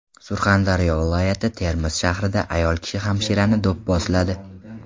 Surxondaryo viloyati Termiz shahrida ayol kishi hamshirani do‘pposladi.